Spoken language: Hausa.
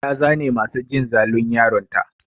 Ta zane masu jin zalun yaron ta.